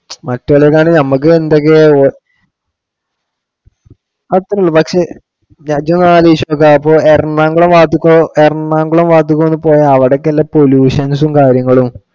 മറ്റൊള്ളതാണ് നമ്മുക്ക് എന്തൊക്കെയോ അത്രേ ഉള്ളു പക്ഷെ എറണാകുളം മാറ്റിക്കോ എറണാകുളം മാറ്റിക്കൊന്ന് പോവാൻ അവിടൊക്കെ അല്ലെ pollutions ഉം കാര്യങ്ങളും